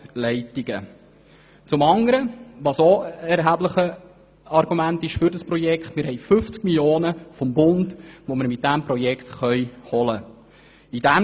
Ein weiteres erhebliches Argument für das Projekt ist, dass wir 50 Mio. Franken vom Bund holen können.